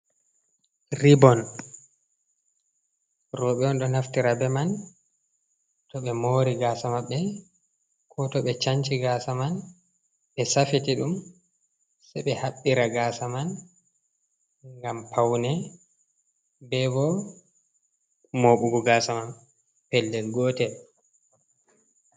Ribon roɓe on do naftira be man to ɓe mori gasa maɓɓe ko to be sanci gasa man ɓe safiti ɗum se ɓe haɓbira gasa man ngam paune ɓe ɓo moɓugo gasa man pellel gotel.